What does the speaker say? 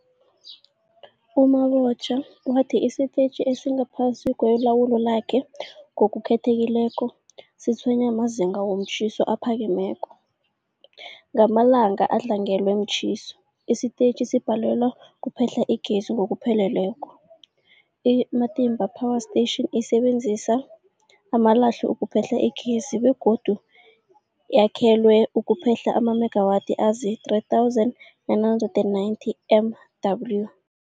U-Mabotja wathi isitetjhi esingaphasi kwelawulo lakhe, ngokukhethekileko, sitshwenywa mazinga womtjhiso aphakemeko. Ngamalanga adlangelwe mtjhiso, isitetjhi sibhalelwa kuphehla igezi ngokupheleleko. I-Matimba Power Station isebenzisa amalahle ukuphehla igezi begodu yakhelwe ukuphehla amamegawathi azii-3990 MW.